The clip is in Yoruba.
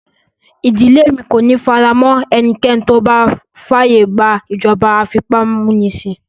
Ìdílé mi kò ní faramọ́ ẹnikẹ́ni tó bá fàyè gba ìjọba afipámúnisìn